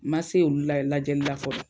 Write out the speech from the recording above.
Ma se olu la ye lajɛli la fɔlɔ.